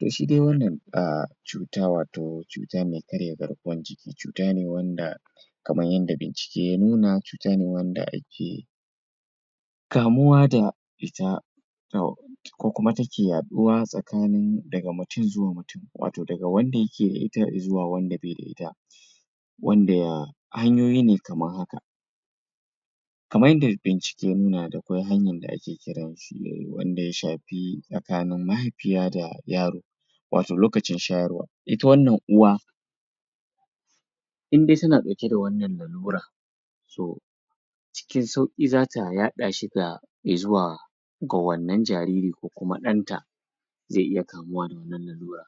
To shi dai wannan um cuta wato cuta mai karya garkuwan jikin cuta ne wanda kaman yanda bincike ya nuna cuta wanda ake kamuwa da ita, to, ko kuma take yaɗuwa tsakanin daga mutum zuwa mutum, wato daga wanda yake da ita i zuwa wanda bai da ita. Wanda a hanyoyi ne kaman haka: Kaman yanda bincike ya nuna, dakwai hanyan da ake kiran shi wanda ya shafi tsakanin mahaifiya da yaro wato lokacin shayarwa, ita wannan uwa in dai tana ɗauke da wannan lalura so cikin sauƙi za ta yaɗa shi ga i zuwa ga wannan jariri ko kuma ɗanta zai iya kamuwa da wannan lalura.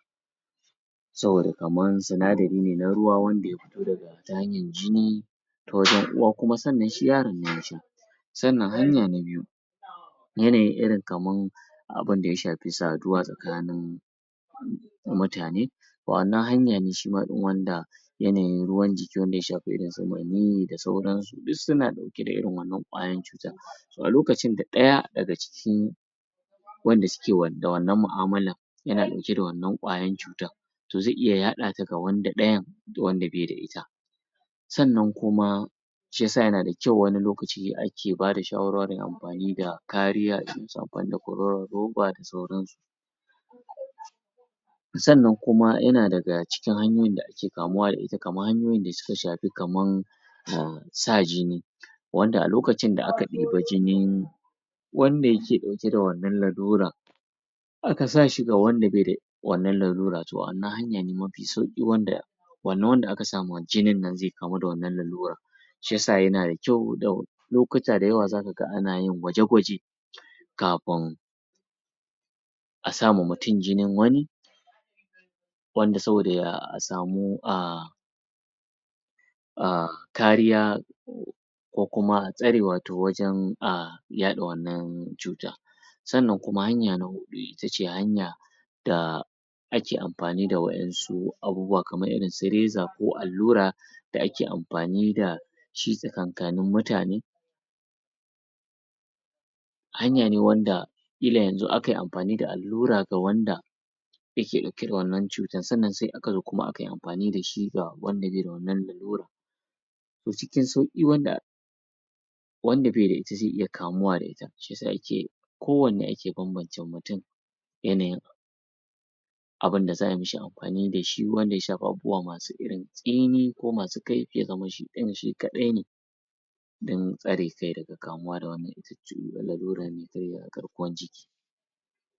Saboda kaman sinadari ne na ruwa wanda ya fito daga ta hanyan jini ta wajen uwa kuma sannan shi yaron ne ya sha. Sannan hanya na biyu, yanayin irin kaman abin da ya shafi saduwa tsakanin mutane wa'annan hanya shi ma irin wanda yanayin ruwan jiki wanda ya shafi irin su maniyyi da sauransu duk suna ɗauke da irin wannan ƙwayan cutan So, a lokacin da ɗaya daga ciki wanda suke da wannan mu'amalan yana ɗauke da wannan ƙwayan cutan to zai iya yaɗa ta ga wanda ɗayan wanda bai da ita. Sannan kuma, shi ya sa yana da kyau wani lokaci ake ba da shawarwarin amfanin da kariya irin su amfani da kwaroron roba da sauransu. Sannan kuma, yana daga cikin hanyoyin da ake kamuwa da ita kaman hanyoyin da suka shafi kaman um sa jini wanda a lokacin da aka ɗiba jinin wanda yake ɗauke da wannan laluran aka sa shi ga wanda bai da wannan laluran, to wannan hanya ne mafi sauƙi wanda wannan wanda aka sa ma jinin nan zai kamu da wannan laluran. Shi ya sa yana da kyau lokuta da yawa za ka ga ana yin gwaje-gwaje kafin a sa ma mutum jinin wani wanda saboda a samu um um kariya ko kuma tsare wato wajen um yaɗa wannan cuta. Sannan kuma hanya na huɗu ita ce hanya da ake amfani da waƴansu abubuwa, kamar irin su reza ko allura da ake amfani da shi tsakankanin mutane. Hanya ne wanda ƙila yanzu aka yi amfani da allura ga wanda yake ɗauke da wannan cuta, sannan sai aka zo kuma aka yi amfani da shi ga wanda bai da wannan laluran to cikin sauƙi wanda wanda bai da ita zai iya kamuwa da ita. Shi ya sa ake kowanne ake bambance mutum yanayin abin da za a yi mishi amfani da shi wanda ya shafi abubuwa nasu irin tsini ko masu kaifi ya zama shi ɗin shi kaɗai ne. Don tsare kai daga kamuwa da wannan laluran mai karya garkuwan jiki.